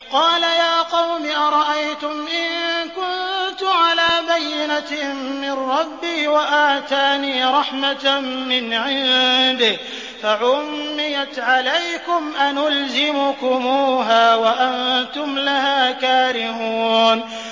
قَالَ يَا قَوْمِ أَرَأَيْتُمْ إِن كُنتُ عَلَىٰ بَيِّنَةٍ مِّن رَّبِّي وَآتَانِي رَحْمَةً مِّنْ عِندِهِ فَعُمِّيَتْ عَلَيْكُمْ أَنُلْزِمُكُمُوهَا وَأَنتُمْ لَهَا كَارِهُونَ